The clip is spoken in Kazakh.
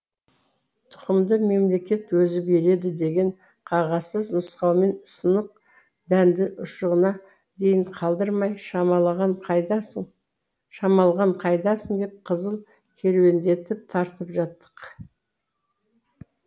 тұқымды мемлекет өзі береді деген қағазсыз нұсқаумен сынық дәнді ұшығына дейін қалдырмай шамалған қайдасың деп қызыл керуендетіп тартып жаттық